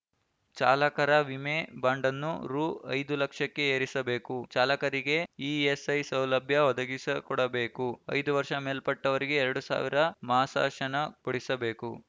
ಚಾಲಕರ ವಿಮೆ ಬಾಂಡನ್ನು ರು ಐದು ಲಕ್ಷಕ್ಕೆ ಏರಿಸಬೇಕು ಚಾಲಕರಿಗೆ ಇಎಸ್‌ಐ ಸೌಲಭ್ಯ ಒದಗಿಸಿಕೊಡಬೇಕು ಐದು ವರ್ಷ ಮೇಲ್ಪಟ್ಟವರಿಗೆ ಎರಡು ಸಾವಿರ ಮಾಸಾಶನ ಕೊಡಿಸಬೇಕು